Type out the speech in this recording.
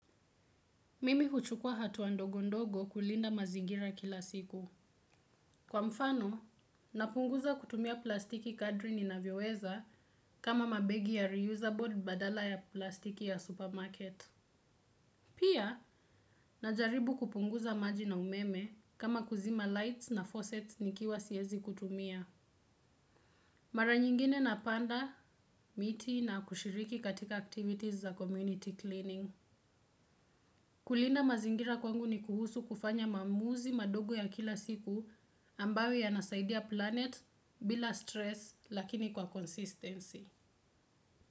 Mimi huchukua hatu wa ndogo ndogo kulinda mazingira kila siku. Kwa mfano, napunguza kutumia plastiki kadri ni na vyoweza kama mabegi ya reusable badala ya plastiki ya supermarket. Pia, najaribu kupunguza maji na umeme kama kuzima lights na faucets nikiwa siezi kutumia. Mara nyingine na panda, miti na kushiriki katika activities za community cleaning. Kulinda mazingira kwangu ni kuhusu kufanya maamuzi madogo ya kila siku ambayo ya nasaidia planet bila stress lakini kwa consistency.